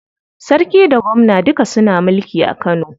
Sarki da gwamna duka suna mulki a Kano.